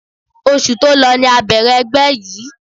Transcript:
Oṣù tó lọ ni a bẹ̀rẹ̀ ẹgbẹ́ yìí